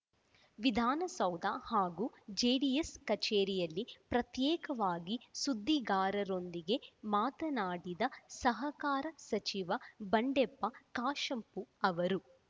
ವಿಧಾನಸೌಧ ಹಾಗೂ ಜೆಡಿಎಸ್‌ ಕಚೇರಿಯಲ್ಲಿ ಪ್ರತ್ಯೇಕವಾಗಿ ಸುದ್ದಿಗಾರರೊಂದಿಗೆ ಮಾತನಾಡಿದ ಸಹಕಾರ ಸಚಿವ ಬಂಡೆಪ್ಪ ಕಾಶಂಪೂರ್‌ ಅವರು